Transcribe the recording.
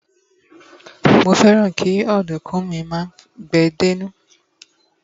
mo fẹràn ki ọdunkun mi ma gbe dé inú